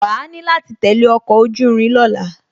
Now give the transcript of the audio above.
Wàá ni láti tẹ̀lé ọkọ̀ ojú irin ní ọ̀la